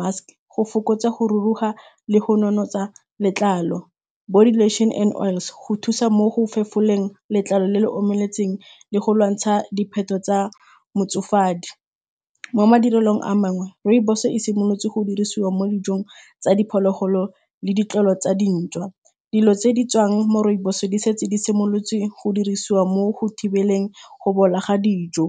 mask go fokotsa go ruruga le go nonotsa letlalo, body lotion and-e oils go thusa mo go fefoleng letlalo le le omeletseng le go lwantsha dipheto tsa motsofadi. Mo madirelong a mangwe, rooibos-e e simolotse go dirisiwa mo dijong tsa diphologolo le ditlwaelo tsa dintša. Dilo tse di tswang mo rooibos-e di setse di simolotse go dirisiwa mo go thibeleng go bola ga dijo.